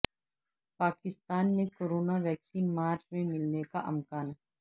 پاکستان میں corona vaccine March میں ملنے کا امکان